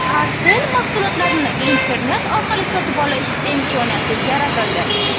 Artel mahsulotlarini internet orqali sotib olish imkoniyati yaratildi.